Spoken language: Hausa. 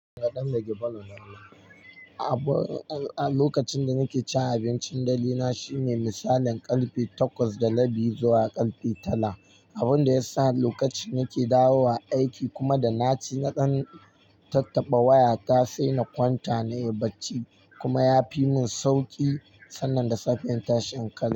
Lokacin da nake cin abincin dare na shine misalin karfe takwas da rabi zuwa karfe tara, abun da ya sa lokacin nake dawowa aiki kuma da naci naɗan tattaɓa waya ta sai na kwanta na yi barci kuma ya fi mun sauƙi sannan da safiya in tash in karya.